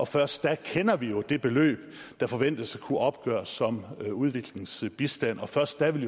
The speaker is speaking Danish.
først da kender vi jo det beløb der forventes at kunne opgøres som udviklingsbistand og først da vil